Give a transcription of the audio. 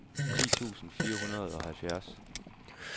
ti tusind fire hundrede og halvfjerds